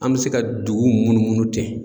An bɛ se ka dugu munnu munnu ten.